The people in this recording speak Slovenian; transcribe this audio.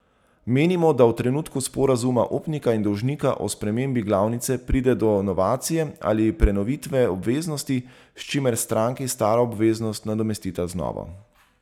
Menimo, da v trenutku sporazuma upnika in dolžnika o spremembi glavnice pride do novacije ali prenovitve obveznosti, s čimer stranki staro obveznost nadomestita z novo.